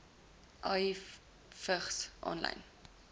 ahi vigs aanlyn